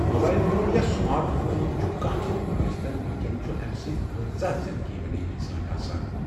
mobile phone یا smart phone چُھ کانٛہہ تہِ فون ٲسۍتَن وٕنۍکٮ۪ن چُھ امہِ سۭتۍ کۭژاہ زنٛدگی بنیٛیہ سٲنۍآسان